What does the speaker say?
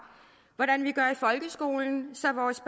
hvordan vi gør i folkeskolen så vores